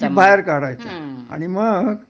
कि बाहेर काढायचा आणि मग